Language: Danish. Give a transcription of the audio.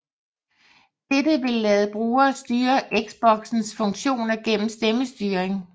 Dette vil lade brugere styre Xboxens funktioner igennem stemmestyring